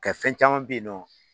Nka fɛn caman be yen nɔn